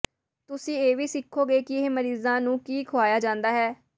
ਤੁਸੀਂ ਇਹ ਵੀ ਸਿੱਖੋਗੇ ਕਿ ਇਹ ਮਰੀਜ਼ਾਂ ਨੂੰ ਕੀ ਖੁਆਇਆ ਜਾਂਦਾ ਹੈ